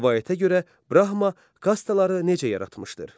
Rəvayətə görə Brahma kastaları necə yaratmışdır?